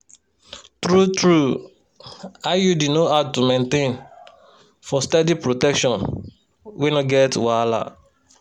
true-true iud no hard to maintain for steady protection wey no get wahala.